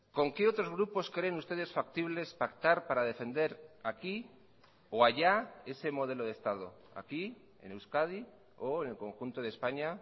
con qué otros grupos creen ustedes factibles pactar para defender aquí o allá ese modelo de estado aquí en euskadi o en el conjunto de españa